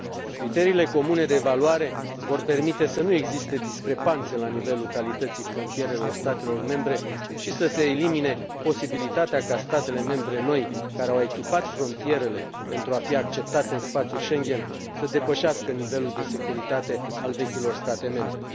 Criteriile comune de evaluare vor permite să nu existe discrepanțe la nivelul calității frontierelor statelor membre și să se elimine posibilitatea ca statele membre noi, care au echipat frontierele pentru a fi acceptate în spațiul Schengen, să depășească nivelul de securitate al vechilor state membre.